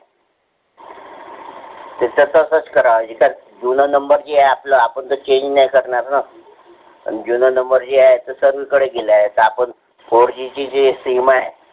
तर तसच करायिजे थर जुना number जे आहे ते आपल आपण त change नाही करणार न जूना number जो आहे तो service कडे दिल आहे. fourG ची जे sim आहे.